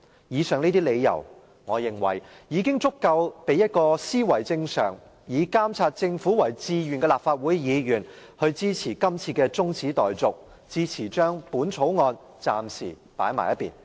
以上這些理由，我認為已足夠令一位思維正常、以監察政府為志願的立法會議員，支持今次的中止待續議案，支持將《條例草案》暫時擱置。